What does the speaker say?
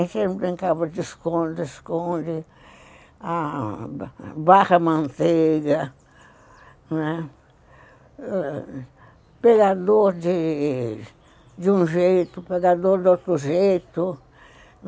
Eles brincavam de esconde, esconde, barra manteiga, né, pegador de um jeito, pegador de outro jeito.